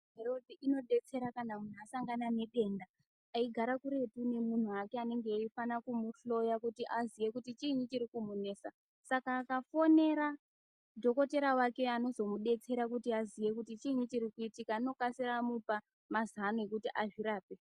Irothi inodetsera kana munhu asangana nedenda eigara kuretu nemunhu ake anenge eifana kumuhloya kuti aziye kuti chiini chiri kumunesa, Saka akafonera dhokotera wake anozomudetsera kuti aziye kuti chiini chirikuitika anokasira amuoa mazana ekuti azvirape.